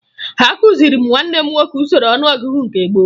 Akụziri m nwanne m nwoke usoro ọnụọgụgụ nke gboo